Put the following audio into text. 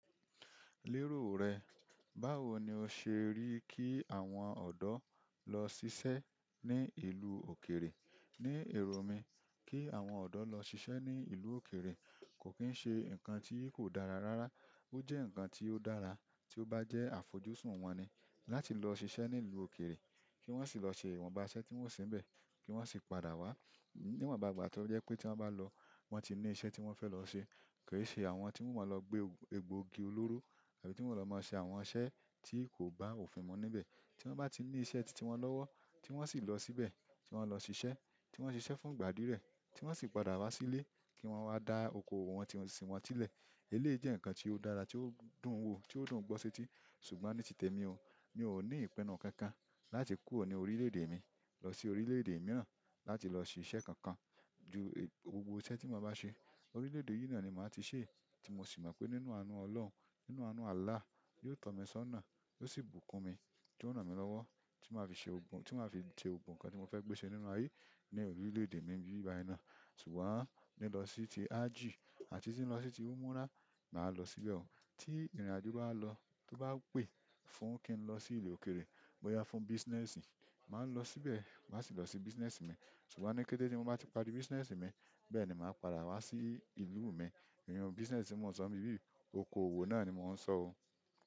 Lérò rẹ, báwo ni o ṣe rí kí àwọn ọ̀dọ́ lọ ṣiṣẹ́ ní ìlú òkèèrè? Ní èrò mí kí àwọn ọ̀dọ́ lọ ṣiṣẹ́ ní ìlú òkèèrè kò kín ṣe ǹkan tí kò dára rárá. Ó jẹ́ ǹkan tí ó dára tí ó bá jẹ́ àfojúsùn wọn ni láti lọ ṣiṣẹ́ ní ìlú òkèèrè, kí wọ́n sì lọ ṣe ìwọ̀nba iṣẹ́ tí wọn o se ń bẹ̀, kí wọ́n sì padà wá. Níwọ̀n bá ìgbà tó pé tí wọ́n bá lọ, wọ́n ti ní iṣẹ́ tí wọ́n fẹ́ lọ ṣe. Kò ì ṣe àwọn tí wọn máa lọ gbé egbòogi olóró àbí tí wọn o lọ máa ṣe àwọn iṣẹ́ tí kò bá òfin mu níbẹ̀. Tí wọ́n bá ti ní iṣẹ́ tí tí wọn lọ́wọ́, tí wọ́n sì lọ síbẹ̀, tí wọ́n lọ ṣiṣẹ́, tí wọ́n ṣiṣẹ́ fún ìgbà díẹ̀ rẹ̀, tí wọ́n sì padà wá sílé, kí wọ́n wá da oko òwò wọn tí wọn sì wọn sílẹ̀. Eléyìí jẹ́ ǹkan tí ó dára, tí ó dùn wo, tí ó dùn gbọ́ séti. Ṣùgbọ́n ní titẹ̀ mi o, mi ò ní ìpinnu kankan láti kúrò ní orílè-èdè mi lọ sí orílè-èdè mìíràn láti lọ ṣe iṣẹ́ kankan. Ju gbogbo iṣẹ́ tí mo bá ṣe, orílè-èdè yìí náà ni má ti ṣe ẹ́. Tí mo sì mọ̀ pé nínú àánú Ọlọ́run, nínú àánú Àlláh, yóò tọ́ mi sọ́nà, yóò sì bùkún mi, yóò ran mi lọ́wọ́ tí màá fi ṣe gbogbo, tí màá fi ṣe gbogbo ohun kan tí mo fẹ́ gbéṣẹ́ nínú ayé ní orílè-èdè mi bí i báyìí ná. Ṣùgbọ́n lilo si ti hajji àti umrah maa lo síbẹ̀ o. Tí ìrìnàjò bá lọ, tó bá pè fún kí n lọ sí ìlú òkèèrè bóyá fún business, màá lọ síbẹ̀, màá sì lọ se business mi. Ṣùgbọ́n ní kété tí mo bá ti parí business mi, bẹ́ẹ̀ ni màá padà wá sí ìlú mi. Iru business tí mò ń sọ n bibí oko òwò náà ni mò ń sọ oo.